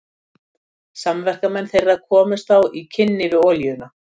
Samverkamenn þeirra komust þá í kynni við olíuna.